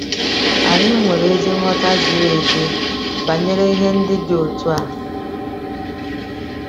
Anyị nwere ezi nghọta ziri ezi banyere ihe ndị dị otu a.